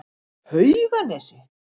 Hauganesi